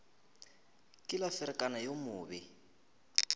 ke la ferekana yo mobe